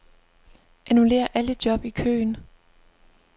Annullér alle job i køen.